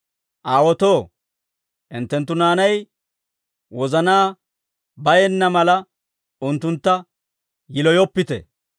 Aawotoo, hinttenttu naanay wozanaa bayenna mala, unttuntta yiloyoppite.